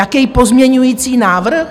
Jaký pozměňovací návrh?